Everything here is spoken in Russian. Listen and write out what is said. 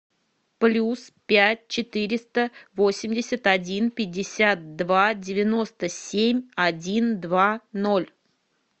плюс пять четыреста восемьдесят один пятьдесят два девяносто семь один два ноль